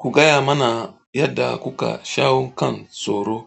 Ku gaya mana yadda kuka shawo kan tsoro.